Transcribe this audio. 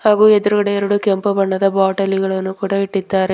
ಹಾಗೂ ಎದ್ರುಗಡೆ ಎರಡು ಕೆಂಪು ಬಣ್ಣದ ಬಾಟಲಿಗಳನ್ನು ಇಟ್ಟಿದ್ದಾರೆ.